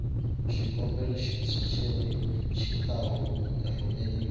xikombelo xintshwa xi ta rhumeriwa